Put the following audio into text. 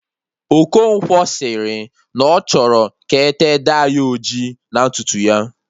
Okonkwo sịrị na ọ chọrọ ka ete dai ojii na ntutu ya